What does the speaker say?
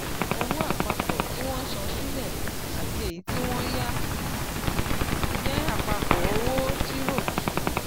owó àpapọ̀ tí wọ́n san sílẹ̀ àti èyí tí wọ́n yá jẹ́ àpapọ̀ owó tírọ̀kì.